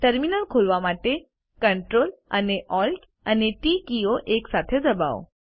terminal ખોલવા માટે Ctrl અને ALT અને ટી કીઓ એકસાથે દબાવો